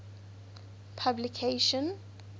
publication